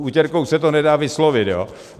S utěrkou se to nedá vyslovit, jo.